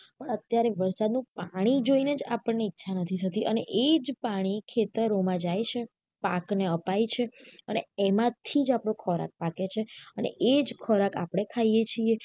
પણ અત્યારે વરસાદ નું પાણી જોઈ ને જ આપણને ઇરછા નથી થતી અને આ જ પાણી ખેતરો માં જય છે પાક ને અપાય છે અને એમાંથી જ આપડો ખોરાક પાકે છે અને આ જ ખોરાક આપને ખાઈએ છીએ